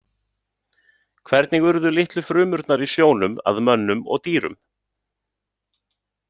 Hvernig urðu litlu frumurnar í sjónum að mönnum og dýrum?